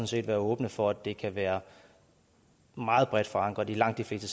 set være åbne for at det kan være meget bredt forankret i langt de fleste